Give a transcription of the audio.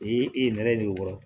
I ye nɛrɛ don o kɔrɔ